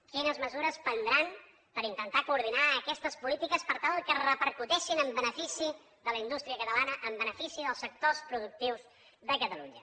quines mesures prendran per intentar coordinar aquestes polítiques per tal que repercuteixin en benefici de la indústria catalana en benefici dels sectors productius de catalunya